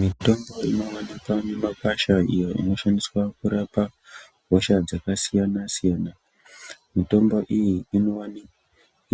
Mitombo inowanikwa mumakwasha iyo inoshandiswa kurapa hosha dzakasiyana-siyana, mitombo iyi